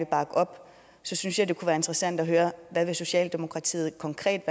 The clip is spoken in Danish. bakke op synes jeg det kunne være interessant at høre hvad socialdemokratiet konkret